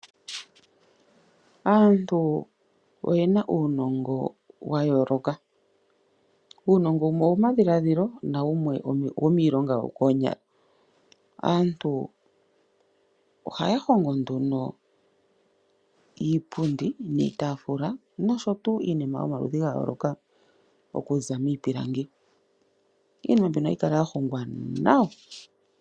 Aantu oyena uunongo wa yooloka. Uunongo wumwe owomadhiladhilo wemwe owiionga yo koonyala. Oha Ohaya hongo nduno iitafula niipundi nosho tuu iinima yomaludhi gayooloka okuza miipilangi nohayi kala ya hongwa nawa.